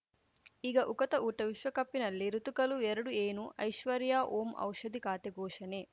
ಈಗ ಉಕುತ ಊಟ ವಿಶ್ವಕಪ್‌ನಲ್ಲಿ ಋತುಗಳು ಎರಡು ಏನು ಐಶ್ವರ್ಯಾ ಓಂ ಔಷಧಿ ಖಾತೆ ಘೋಷಣೆ